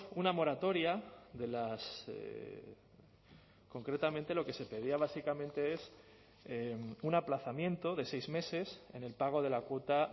una moratoria de las concretamente lo que se pedía básicamente es un aplazamiento de seis meses en el pago de la cuota